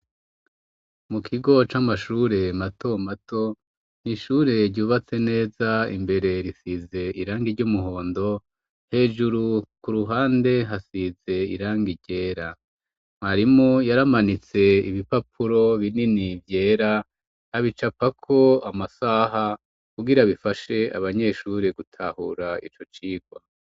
Mu kigo c'amashure mato mato ntishure ryubatse neza imbere risize irange ry'umuhondo hejuru ku ruhande hasize iranga ryera marimu yaramanitse ibipapuro binini vyera ab icapako amasaha kugira bifashe abanyeshuri gutahura ico cirwa.